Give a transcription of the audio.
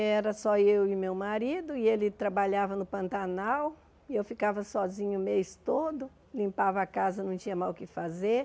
Era só eu e meu marido, e ele trabalhava no Pantanal, e eu ficava sozinha o mês todo, limpava a casa, não tinha mais o que fazer.